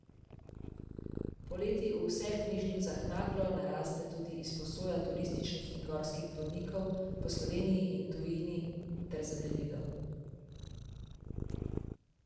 Poleti v vseh knjižnicah naglo naraste tudi izposoja turističnih in gorskih vodnikov po Sloveniji in tujini ter zemljevidov.